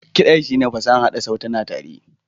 Kiɗa shine fasahar haɗa sautuna tare.